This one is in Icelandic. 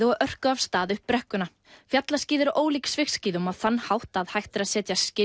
og örkuðu af stað upp brekkuna fjallaskíði eru ólík svigskíðum á þann hátt að hægt er að setja skinn